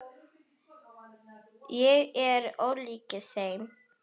Ég er ólík þeim.